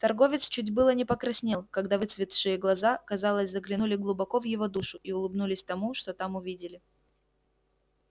торговец чуть было не покраснел когда выцветшие глаза казалось заглянули глубоко в его душу и улыбнулись тому что там увидели